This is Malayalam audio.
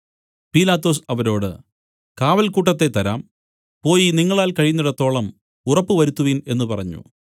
പീലാത്തോസ് അവരോട് കാവൽക്കൂട്ടത്തെ തരാം പോയി നിങ്ങളാൽ കഴിയുന്നിടത്തോളം ഉറപ്പുവരുത്തുവിൻ എന്നു പറഞ്ഞു